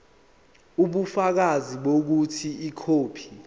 ubufakazi bokuthi ikhophi